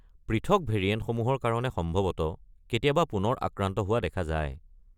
পৃথক ভেৰিয়েণ্টসমূহৰ কাৰণে সম্ভৱতঃ কেতিয়াবা পুনৰ আক্ৰান্ত হোৱা দেখা যায়।